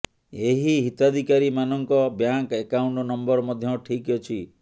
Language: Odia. ଏହି ହିତାଧିକାରୀମାନଙ୍କ ବ୍ୟାଙ୍କ୍ ଆକାଉଣ୍ଟ ନମ୍ବର ମଧ୍ୟ ଠିକ୍ ଅଛି